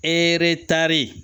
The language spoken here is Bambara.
Eretari